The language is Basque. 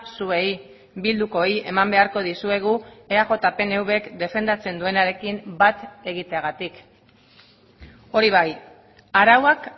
zuei bildukoei eman beharko dizuegu eaj pnvk defendatzen duenarekin bat egiteagatik hori bai arauak